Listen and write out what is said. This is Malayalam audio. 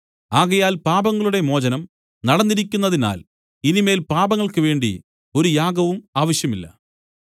ആകയാൽ പാപങ്ങളുടെ മോചനം നടന്നിരിക്കുന്നതിനാൽ ഇനി മേൽ പാപങ്ങൾക്ക് വേണ്ടി ഒരു യാഗവും ആവശ്യമില്ല